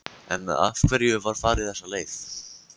En af hverju var farið þessa leið?